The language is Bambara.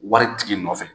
Wari tigi nɔfɛ